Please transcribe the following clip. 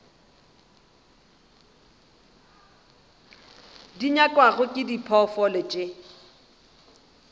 di nyakwago ke diphoofolo tše